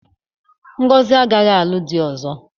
Ngozi agaghị alụ di ọzọ.